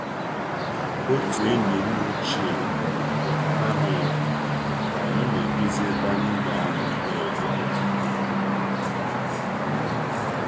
Otu enyim ochie bịarutere na-amaghị ọkwa ka anyị na-edozi ebe anyi ga nọọ kpee ekpere.